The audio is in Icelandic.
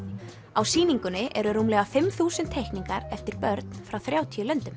á sýningunni eru rúmlega fimm þúsund teikningar eftir börn frá þrjátíu löndum